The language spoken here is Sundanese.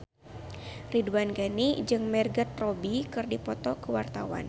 Ridwan Ghani jeung Margot Robbie keur dipoto ku wartawan